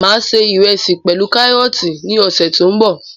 Máa ṣe ìrẹsì pẹlu karọọti ní ọsẹ tó n bọ